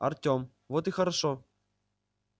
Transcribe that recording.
артем вот и хорошо